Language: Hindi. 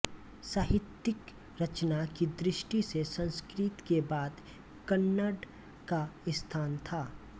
साहित्यिक रचना की दृष्टि से संस्कृत के बाद कन्नड का स्थान था